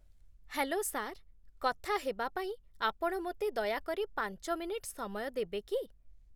Hello sir, କଥା ହେବାପାଇଁ ଆପଣ ମୋତେ ଦୟାକରି ପାଞ୍ଚ ମିନିଟ୍ ସମୟ ଦେବେ କି?